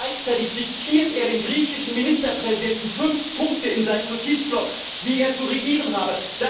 Gleichzeitig diktiert er dem griechischen Ministerpräsidenten fünf Punkte in seinen Notizblock, wie er zu regieren habe.